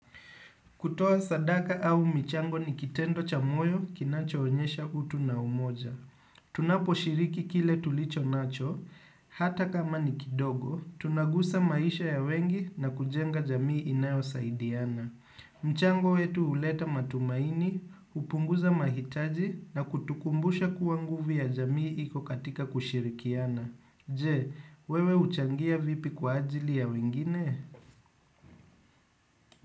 Kutoa sadaka au michango ni kitendo cha moyo kinacho onyesha utu na umoja. Tunapo shiriki kile tulicho nacho, hata kama ni kidogo, tunagusa maisha ya wengi na kujenga jamii inayo saidiana. Mchango wetu huleta matumaini, hupunguza mahitaji na kutukumbusha kuwa nguvu ya jamii iko katika kushirikiana. Je, wewe huchangia vipi kwa ajili ya wengine?